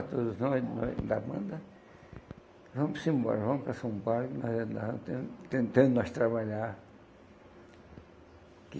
para todos nós, nós da banda, vamos embora, vamos para São Paulo, que nós estamos tentando trabalhar.